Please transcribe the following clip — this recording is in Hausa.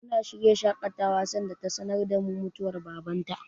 Muna shirya shaƙatawa sanda ta sanar da mu mutuwar Babar ta.